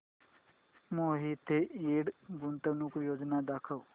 मोहिते इंड गुंतवणूक योजना दाखव